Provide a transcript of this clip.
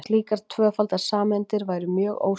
slíkar tvöfaldar sameindir væru mjög óstöðugar